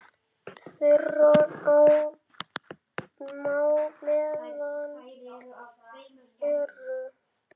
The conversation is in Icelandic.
Þeirra á meðal eru